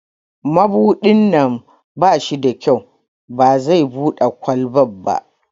Mabudin nan ba shi da kyau, ba zai Bude kwalban ba.